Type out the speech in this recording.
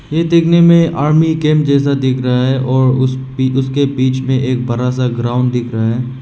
ये देखने में आर्मी कैंप जैसा दिख रहा है और उस भी उसके बीच में एक बड़ा सा ग्राउंड दिख रहा है।